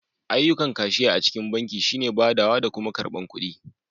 Ayyukan kashiya a cikin banki shi ne badawa da kuma karbar kuɗu.